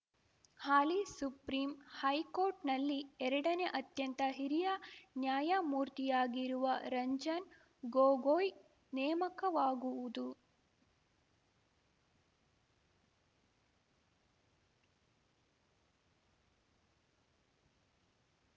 ಹಾಲಿ ಸುಪ್ರೀಂಹೈಕೋರ್ಟ್‌ನಲ್ಲಿ ಎರಡನೇ ಅತ್ಯಂತ ಹಿರಿಯ ನ್ಯಾಯಮೂರ್ತಿಯಾಗಿರುವ ರಂಜನ್‌ ಗೊಗೊಯ್‌ ನೇಮಕವಾಗುವುದು